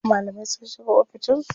Malamai sun shiga oficin su.